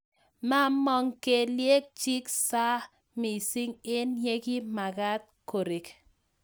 Mamong kelyek chiik saa mising eng yekimakaat korek